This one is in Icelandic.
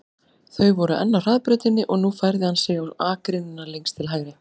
Þau voru enn á hraðbrautinni og nú færði hann sig á akreinina lengst til hægri.